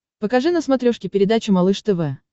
покажи на смотрешке передачу малыш тв